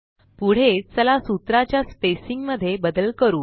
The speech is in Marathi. पुढे चला सूत्रा च्या स्पेसिंग मध्ये बदल करू